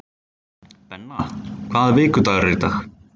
Benna, hvaða vikudagur er í dag?